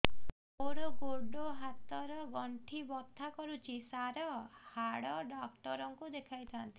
ମୋର ଗୋଡ ହାତ ର ଗଣ୍ଠି ବଥା କରୁଛି ସାର ହାଡ଼ ଡାକ୍ତର ଙ୍କୁ ଦେଖାଇ ଥାନ୍ତି